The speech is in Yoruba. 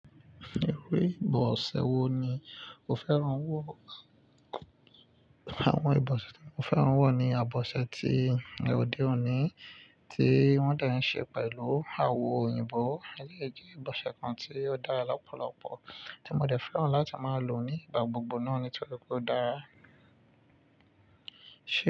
Irú ìbọ̀ṣẹ wò ní o fẹ́ràn wò? Àwọn ìbọ̀ṣẹ tí mo fẹ́ràn wò ní àbọ̀ṣẹ tí ní ọ́dè òní tí wọ́n dẹ̀ ń ṣe pẹ̀lú awọ òyìnbó. Éléyì jẹ́ ìbọ̀ṣẹ kan tí ó dára lọ́pọ̀lọpọ̀ tí mo dẹ̀ fẹ́ràn láti máa lò nígbà gbogbo náà nítorí pé ó dára.